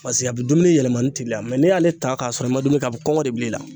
a bɛ dumuni yɛlɛmani teliya n'i y'ale ta k'a sɔrɔ i ma dumuni kɛ a bɛ kɔngɔ de bil'i la